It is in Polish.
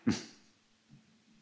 Panie Przewodniczący!